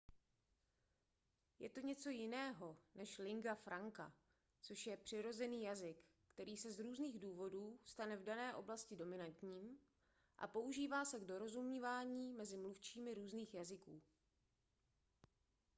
je to něco jiného než lingua franca což je přirozený jazyk který se z různých důvodů stane v dané oblasti dominantním a používá se k dorozumění mezi mluvčími různých jazyků